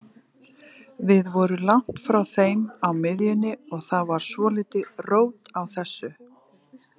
Við vorum langt frá þeim á miðjunni og það var svolítið rót á þessu.